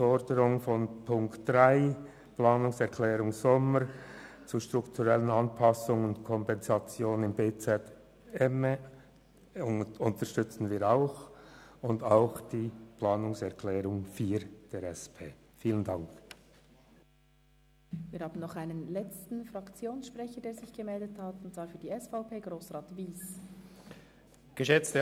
Den Punkt 3, die Planungserklärung Sommer, unterstützen wir auch, und wir stimmen ebenfalls dem Punkt 4, der Planungserklärung der SP-JUSO-PSA-Fraktion, zu.